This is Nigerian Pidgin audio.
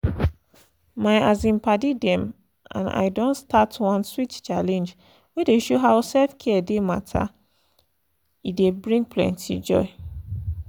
my um padi dem and i don start one sweet challenge wey dey show how self-care dey matter e dey bring plenty joy.